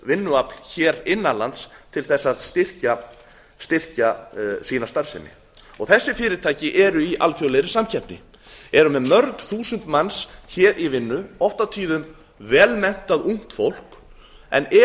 vinnuafl innan lands til að styrkja sína samkeppni þessi fyrirtæki eru í alþjóðlegri samkeppni eru með mörg þúsund manns í vinnu oft og tíðum vel menntað ungt fólk en